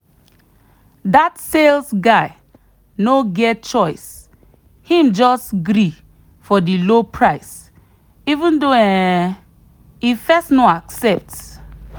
that sales guy no get choice him just gree for the low price even though um e first no accept.